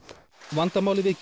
vandamálið við